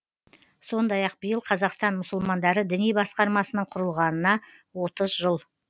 сондай ақ биыл қазақстан мұсылмандары діни басқармасының құрылғанына отыз жыл